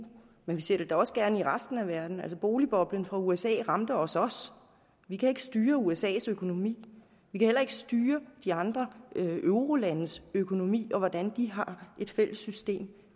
men vi ser det da også gerne i resten af verden altså boligboblen fra usa ramte også os vi kan ikke styre usas økonomi vi kan heller ikke styre de andre eurolandes økonomi og hvordan de har et fælles system